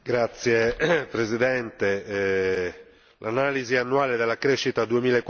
L'analisi annuale della crescita 2014 non si discosta di molto da quella del